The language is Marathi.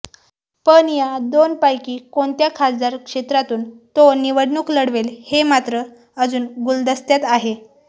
पण या दोनपैकी कोणत्या खासदार क्षेत्रातून तो निवडणूक लढवेल हे मात्र अजून गुलदस्त्यात आहे